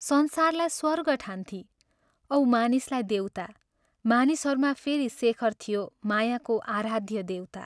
संसारलाई स्वर्ग ठान्थी औ मानिसलाई देवता मानिसहरूमा फेरि शेखर थियो मायाको आराध्य देवता।